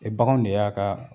O baganw de y'a ka